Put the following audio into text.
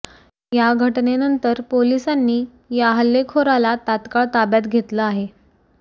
या घटनेनंतर पोलिसांनी या हल्लेखोराला तात्काळ ताब्यात घेतलं आहे